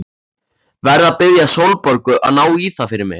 Verð að biðja Sólborgu að ná í það fyrir mig.